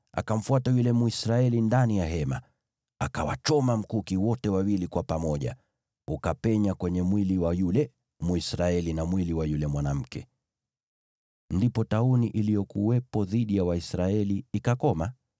akamfuata yule Mwisraeli ndani ya hema. Akawachoma mkuki wote wawili kwa pamoja, ukapenya kwenye mwili wa yule Mwisraeli na mwili wa yule mwanamke. Ndipo tauni iliyokuwepo dhidi ya Waisraeli ikakoma.